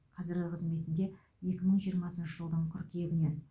қазіргі қызметінде екі мың жиырмасыншы жылдың қыркүйегінен